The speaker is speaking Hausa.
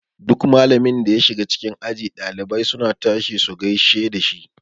Duk malamin da ya shiga cikin aji ɗalibai suna tashi su gaishe dashi.